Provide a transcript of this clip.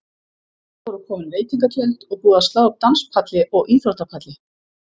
Þar voru komin veitingatjöld og búið að slá upp danspalli og íþróttapalli.